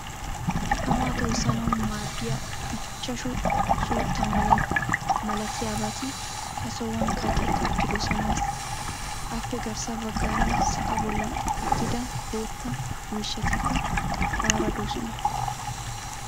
Tamaa toyssanawu maaddiya ichchashshu suutta malattiyabati ha sohuwan kaqetti uttidosonasl. Appe garssa baggaara sa'aa bolan uttida bootta miishshatikka aara doosona.